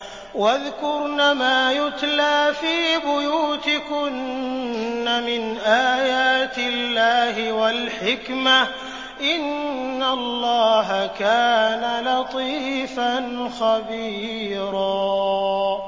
وَاذْكُرْنَ مَا يُتْلَىٰ فِي بُيُوتِكُنَّ مِنْ آيَاتِ اللَّهِ وَالْحِكْمَةِ ۚ إِنَّ اللَّهَ كَانَ لَطِيفًا خَبِيرًا